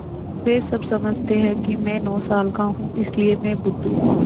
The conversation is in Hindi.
वे सब समझते हैं कि मैं नौ साल का हूँ इसलिए मैं बुद्धू हूँ